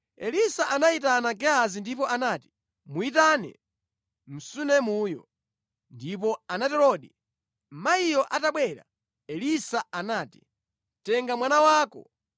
Elisa anayitana Gehazi ndipo anati, “Muyitane Msunemuyo.” Ndipo anaterodi. Mayiyo atabwera, Elisa anati, “Tenga mwana wako.”